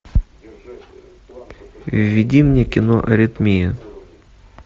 введи мне кино аритмия